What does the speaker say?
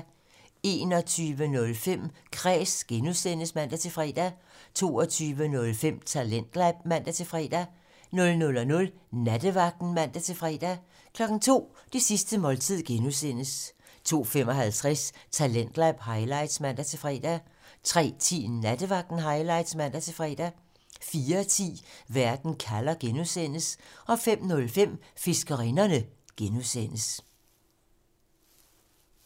21:05: Kræs (G) (man-fre) 22:05: Talentlab (man-fre) 00:00: Nattevagten (man-fre) 02:00: Det sidste måltid (G) 02:55: Talentlab highlights (man-fre) 03:10: Nattevagten Highlights (man-fre) 04:10: Verden kalder (G) 05:05: Fiskerinderne (G)